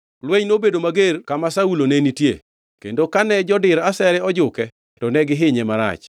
Lweny nobedo mager kama Saulo ne nitie kendo kane jodir asere ojuke to ne gihinye marach.